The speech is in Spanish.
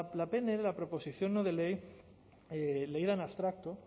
la pnl la proposición no de ley leída en abstracto